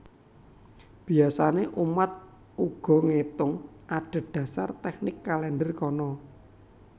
Biasané umat uga ngétung adhedhasar tèknik kalèndher kono